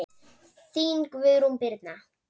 Þín, Guðrún Birna.